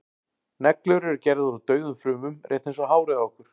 neglur eru gerðar úr dauðum frumum rétt eins og hárið á okkur